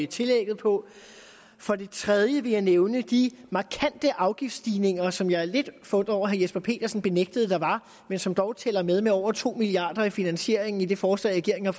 tillægget på og for det tredje vil jeg nævne de markante afgiftsstigninger som jeg er lidt forundret over herre jesper petersen benægtede der var men som dog tæller med med over to milliard kroner i finansieringen i det forslag regeringen